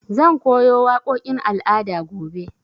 Zan koyo waƙoƙin al'ada gobe.